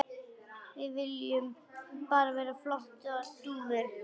Við viljum bara flottar dúfur.